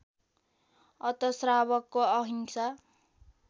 अत श्रावकको अहिंसा